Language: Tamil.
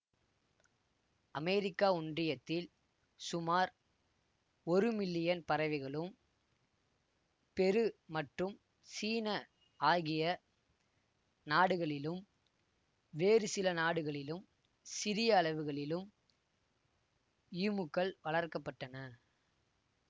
அமெரிக்க ஒன்றியத்தில் சுமார் ஒரு மில்லியன் பறவைகளும் பெரு மற்றும் சீன ஆகிய நாடுகளிலும் வேறு சில நாடுகளிலும் சிறிய அளவுகளிலும் ஈமுக்கள் வளர்க்க பட்டன